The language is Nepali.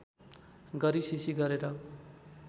गरी सिँसिँ गरेर